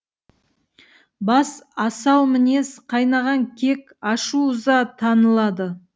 бас асау мінез қайнаған кек ашу ыза танылады